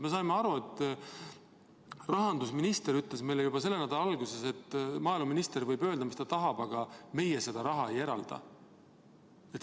Me saime aru, et rahandusminister ütles meile juba selle nädala alguses, et maaeluminister võib öelda, mis ta tahab, aga meie seda raha ei eralda.